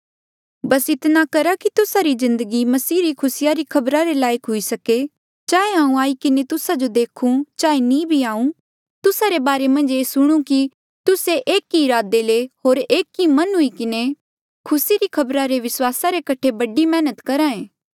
बस इतना करा कि तुस्सा री जिन्दगी मसीह रे खुसी री खबरा रे लायक हुई सके चाहे हांऊँ आई किन्हें तुस्सा जो देखूं चाहे नी भी आऊँ तुस्सा रे बारे मन्झ ये सुणूं कि तुस्से एक ई इरादे ले होर एक मन हुई किन्हें खुसी री खबरा रे विस्वासा रे कठे बड़ी मैहनत करहा ऐें